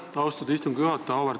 Aitäh, austatud istungi juhataja!